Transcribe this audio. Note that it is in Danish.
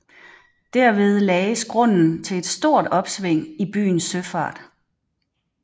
Derved lagdes grunden til et stort opsving i byens søfart